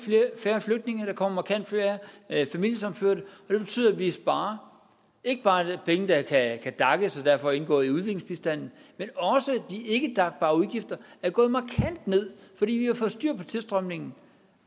færre flygtninge der kommer markant færre familiesammenførte det betyder at vi sparer penge der kan daces og derfor indgå i udviklingsbistanden men også de ikke dac bare udgifter er gået markant ned fordi vi har fået styr på tilstrømningen